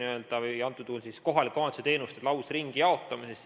Me räägime nüüd riiklike teenuste või antud juhul kohalike omavalitsuste teenuste lausringijaotamisest.